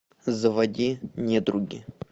заводи недруги